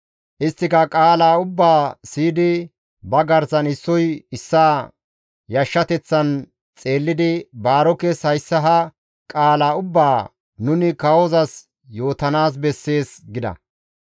Isttika qaala ubbaa siyidi ba garsan issoy issaa yashshateththan xeellidi Baarokes hayssa ha qaala ubbaa, «Nuni kawozas yootanaas bessees» gida.